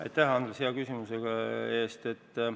Aitäh, Andres, hea küsimuse eest!